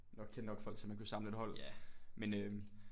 Nok kende nok folk til at man kunne samle et hold men øh